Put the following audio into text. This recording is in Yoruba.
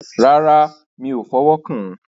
Rárá, mi o fọ̀wọ́ kán.